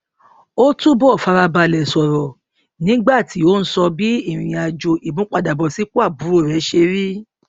ó túbọ fara balẹ sọrọ nígbà tí ó ń sọ bí ìrìn àjò ìmúpadàbọsípò àbúrò rè ṣe rí